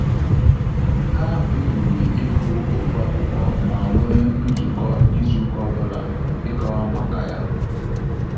Ha kpebiri ịgụ ofu akwụkwọ ma nwe nzukọ izu ka ọbụla ịkọwa maka ya